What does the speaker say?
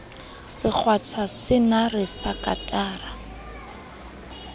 se kgwatha senare sa katara